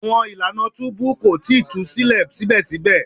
Awọn ilana tubu ko tii tu silẹ sibẹsibẹ